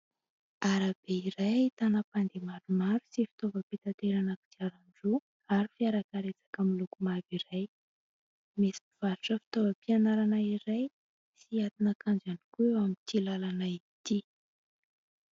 Arabe iray ahitana mpandeha maromaro sy fitaovam-pitaterana kodiaran-droa ary fiara karetsaka miloko mavo iray. Misy mpivarotra fitaovam-pianarana iray sy atin'akanjo ihany koa eo amin'ity làlana ity.